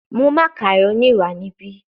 Mu macaroni wa nibi